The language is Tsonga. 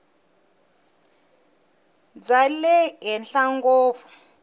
bya le henhla ngopfu